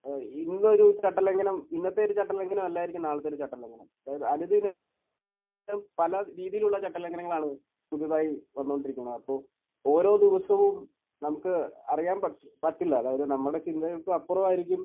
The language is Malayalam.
ഏഹ് ഇന്നൊരു ചട്ടലംഘനം ഇന്നത്തെയൊരു ചട്ടലംഘനം അല്ലായിരിക്കും നാളത്തെയൊരു ചട്ടലംഘനം. അതായത് അതിൽ തന്നെ പല രീതിയിലുള്ള ചട്ടലംഘനങ്ങളാണ് പുതുതായി വന്നുകൊണ്ടിരിക്കുന്നത്. ആപ്പോൾ ഓരോ ദിവസവും നമുക്ക് അറിയാൻ പറ്റ്...പറ്റില്ല. അതായത് നമ്മുടെ ചിന്തകൾക്കും അപ്പുറമായിരിക്കും